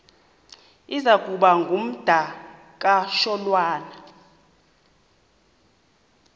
iza kuba ngumdakasholwana